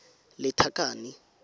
lethakane